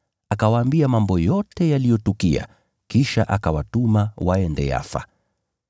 Akawaambia mambo yote yaliyotukia, kisha akawatuma waende Yafa.